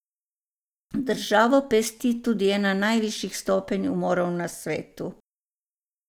Državo pesti tudi ena najvišjih stopenj umorov na svetu.